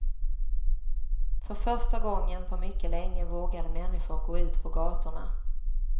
För första gången på mycket länge vågade människor gå ut på gataorna.